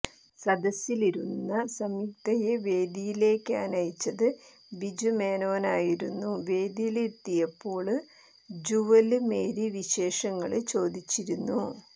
സദസ്സിലിരുന്ന സംയുക്തയെ വേദിയിലേക്കാനയിച്ചത് ബിജു മേനോനായിരുന്നു വേദിയിലെത്തിയപ്പോള് ജ്യുവല് മേരി വിശേഷങ്ങള്ചോദിച്ചിരുന്നു